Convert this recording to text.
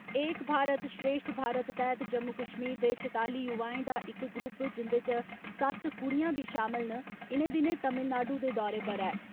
एक भारत श्रेश्ठ भारत तैह्त जम्मू कश्मीर दे छताली युवाएं दा इक ग्रुप जिन्दे चा सत्त कुडियां बी शामल न, इ'नें दिनें तमिलनाडू दे दौरे पर ऐ।